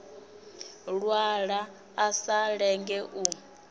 lwala a sa lenge u